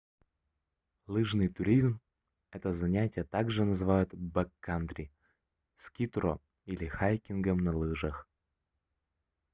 лыжный туризмэто занятие также называют бэккантри скитуро или хайкингом на лыжах